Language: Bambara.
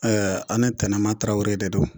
a' ni Tɛnɛma Traore de don.